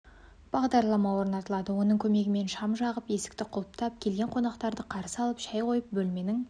бағдарлама орнатылады оның көмегімен шам жағып есікті құлыптап келген қонақтарды қарсы алып шай қойып бөлменің